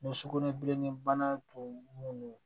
sugunɛbilennin bana tun don